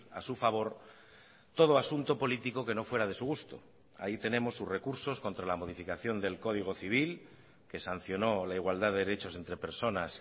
a su favor todo asunto político que no fuera de su gusto ahí tenemos sus recursos contra la modificación del código civil que sancionó la igualdad de derechos entre personas